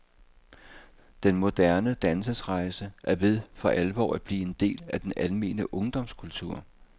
Den moderne dannelsesrejse er ved for alvor at blive en del af den almene ungdomskultur.